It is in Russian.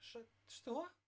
что что